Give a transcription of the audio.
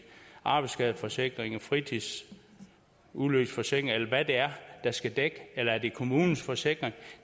arbejdsskadeforsikring en fritidsulykkesforsikring eller hvad det er der skal dække det eller er det kommunens forsikring